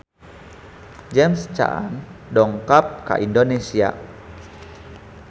James Caan dongkap ka Indonesia